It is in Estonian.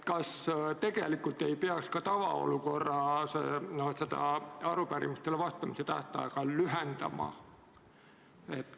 Kas tegelikult ei peaks ka tavaolukorras arupärimistele vastamise tähtaega lühendama?